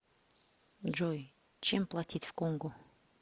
джой чем платить в конго